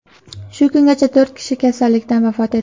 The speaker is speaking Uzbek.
Shu kungacha to‘rt kishi kasallikdan vafot etdi.